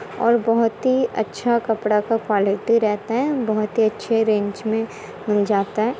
और बहुत ही अच्छा कपड़ा का क्वालिटी रहता हैं बहुत ही अच्छे रेंज में मिल जाता हैं।